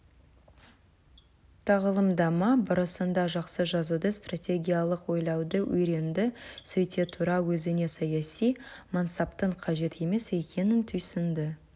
тағылымдама барысында жақсы жазуды стратегиялық ойлауды үйренді сөйте тұра өзіне саяси мансаптың қажет емес екенін түйсінді